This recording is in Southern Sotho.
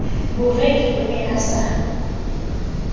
boreki o ne a sa